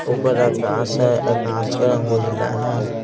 ऊपर आकाश है आकाश का रंग उजला है।